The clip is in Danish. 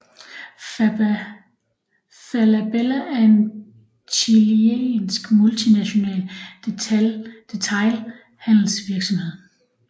Falabella er en chilensk multinational detailhandelsvirksomhed